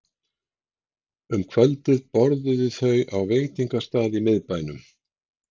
Um kvöldið borðuðu þau á veitingastað í miðbænum.